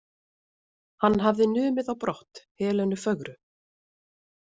Hann hafði numið á brott Helenu fögru.